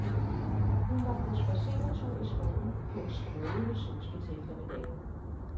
Hun var på spadseretur i skoven på en strålende solskinseftermiddag.